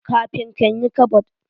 Kafin kan yi kabod.